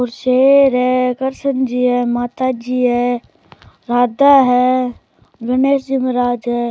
और शेर है कृष्ण जी है माता जी है राधा है दिनेश जी महाराज है।